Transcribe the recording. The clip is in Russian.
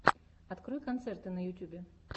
открой концерты на ютьюбе